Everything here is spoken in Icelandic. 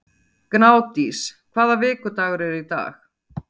Gnádís, hvaða vikudagur er í dag?